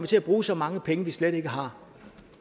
til at bruge så mange penge som vi slet ikke har